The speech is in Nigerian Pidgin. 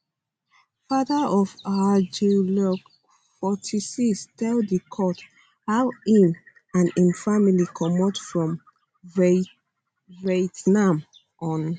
fatheroffour jeanluc l 46 tell di court how im and im family comot from vietnam on